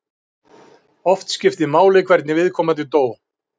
Oft skiptir máli hvernig viðkomandi dó.